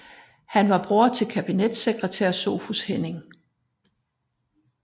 Han var bror til kabinetssekretær Sophus Hennings